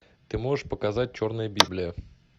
ты можешь показать черная библия